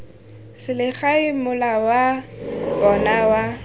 selegae mola wa bona wa